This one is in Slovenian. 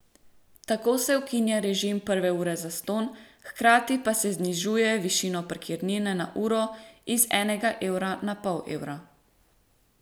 Tako se ukinja režim prve ure zastonj, hkrati pa se znižuje višino parkirnine na uro iz enega evra na pol evra.